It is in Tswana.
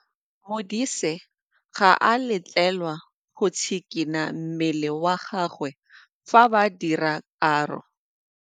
Modise ga a letlelelwa go tshikinya mmele wa gagwe fa ba dira karô.